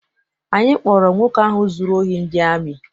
Anyị kpọọrọ nwoke ahụ zụrụ ohi ndị amị.